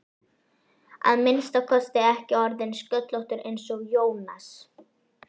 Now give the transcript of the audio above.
að minnsta kosti ekki orðinn sköllóttur eins og Jónas.